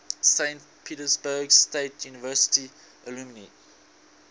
saint petersburg state university alumni